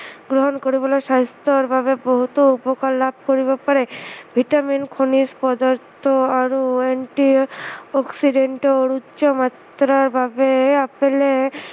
গ্ৰহণ কৰিবলে স্ৱাস্থ্য়ৰ বাবে বহুতো উপকাৰ লাভ কৰিব পাৰে, vitamin খনিজ পদাৰ্থ আৰু antioxidant ৰ উচ্চমাত্ৰাৰ বাবে আপেলে